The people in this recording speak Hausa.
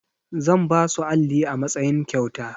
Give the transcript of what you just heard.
Zan basu alli a matsayin kyauta.